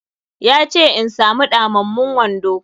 Ya ce in samu ɗamammun wando.